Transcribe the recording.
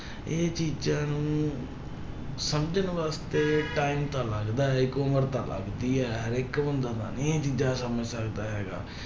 ਇਹ ਚੀਜ਼ਾਂ ਨੂੰ ਸਮਝਣ ਵਾਸਤੇ time ਤਾਂ ਲੱਗਦਾ ਹੈ ਇੱਕ ਉਮਰ ਤਾਂ ਲੱਗਦੀ ਹੈ, ਹਰੇਕ ਬੰਦਾ ਤਾਂ ਨੀ ਇਹ ਚੀਜ਼ਾਂ ਸਮਝ ਸਕਦਾ ਹੈਗਾ।